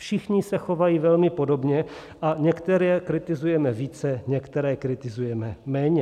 Všichni se chovají velmi podobně a některé kritizujeme více, některé kritizujeme méně.